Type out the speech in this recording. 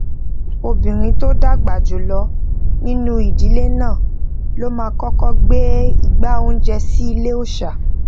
obìnrin tó dàgbà jùlọ nínú ìdílé náà ló máa kókó gbé igbá oúnjẹ sí ile òòṣà